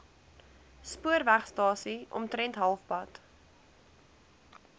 spoorwegstasie omtrent halfpad